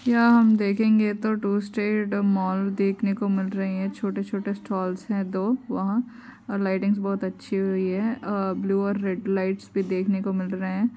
यहाँ हमें देखंगे तो टू स्ट्रैट मॉल देखने को मिल रहे हैं छोटे -छोटे स्टॉल हैं दो वहां और लाय्टिंग बहुत अच्छी हुई हैं अ ब्लू और रेड लाईट भी देखने को मिल रहे हैं।